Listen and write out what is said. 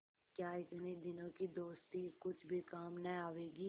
क्या इतने दिनों की दोस्ती कुछ भी काम न आवेगी